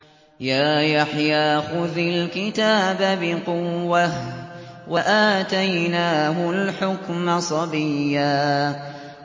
يَا يَحْيَىٰ خُذِ الْكِتَابَ بِقُوَّةٍ ۖ وَآتَيْنَاهُ الْحُكْمَ صَبِيًّا